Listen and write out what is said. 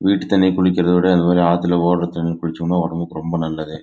வீட்டு தனிலே குளிக்கறதா விட ஆது ஊற்ற தனிலே குளிச்ச உடம்புக்கு ரொம்ப நல்லது